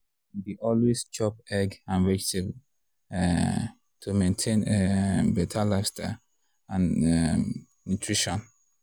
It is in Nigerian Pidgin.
you dey always chop egg and vegetable um to maintain um better lifestyle and um nutrition.